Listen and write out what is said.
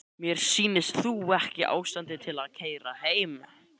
Mér sýnist þú ekki í ástandi til að keyra heim.